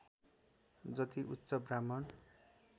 जति उच्च ब्राह्मण